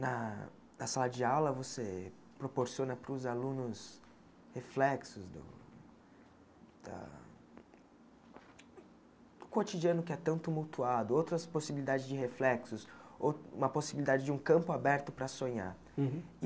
Na na sala de aula, você proporciona para os alunos reflexos do da cotidiano que é tão mutuado, outras possibilidades de reflexos, ou uma possibilidade de um campo aberto para sonhar. Uhum